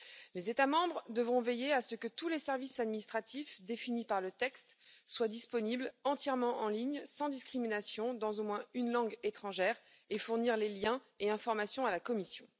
Les États membres devront veiller à ce que tous les services administratifs définis par le texte soient disponibles entièrement en ligne, sans discrimination, dans au moins une langue étrangère, et fournir les liens et informations à la Commission.